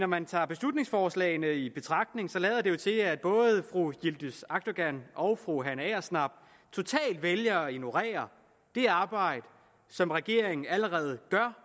man tager beslutningsforslaget i betragtning lader det jo til at både fru yildiz akdogan og fru hanne agersnap totalt vælger at ignorere det arbejde som regeringen allerede gør